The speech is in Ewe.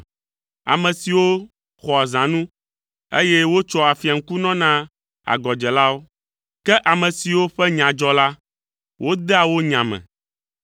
ame siwo xɔa zãnu, eye wotsoa afia ŋkunɔ na agɔdzelawo; ke ame siwo ƒe nya dzɔ la, wodea wo nya me.